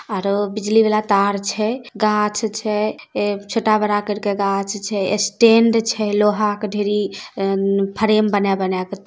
आरो बिजली वाला तार छे गाछ छे ऐ छोटा बाड़ा करके गाछ छे स्टैंड छै लोहा के ढेरी फेरम बना बाना के--